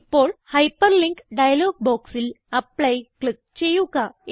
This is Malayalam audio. ഇപ്പോൾ ഹൈപ്പർലിങ്ക് ഡയലോഗ് ബോക്സിൽ ആപ്ലി ക്ലിക്ക് ചെയ്യുക